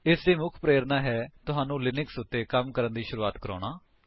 ਇਸ ਦੀ ਮੁੱਖ ਪ੍ਰੇਰਣਾ ਹੈ ਤੁਹਾਨੂੰ ਲਿਨਕਸ ਉੱਤੇ ਕੰਮ ਕਰਨ ਦੀ ਸ਼ੁਰੂਆਤ ਕਰਾਉਣਾ